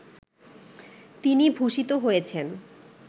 তিনি ভূষিত হয়েছেন